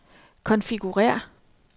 konfigurér